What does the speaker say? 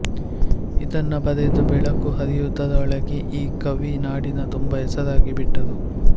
ಇದನ್ನು ಬರೆದು ಬೆಳಕು ಹರಿಯುವುದರೊಳಗೆ ಈ ಕವಿ ನಾಡಿನ ತುಂಬಾ ಹೆಸರಾಗಿ ಬಿಟ್ಟರು